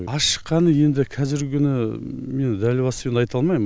аз шыққаны енді қазіргі күні мен дәл басып енді айта алмаймын